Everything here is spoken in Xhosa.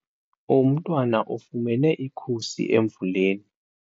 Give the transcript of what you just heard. Umntwana ufumene ikhusi emvuleni.